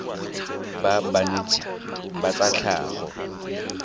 ba banetshi ba tsa tlhago